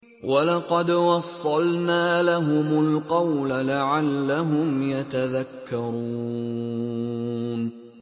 ۞ وَلَقَدْ وَصَّلْنَا لَهُمُ الْقَوْلَ لَعَلَّهُمْ يَتَذَكَّرُونَ